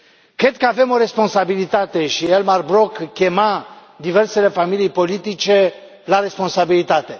Cred că avem o responsabilitate și Elmar Brok chema diversele familii politice la responsabilitate.